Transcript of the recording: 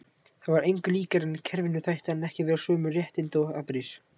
Það var engu líkara en kerfinu þætti hann ekki verður sömu réttinda og aðrir.